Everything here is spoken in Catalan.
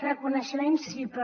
reconeixement sí però